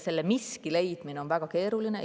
Selle miski leidmine on väga keeruline.